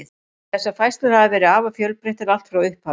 Þessar færslur hafa verið afar fjölbreyttar allt frá upphafi.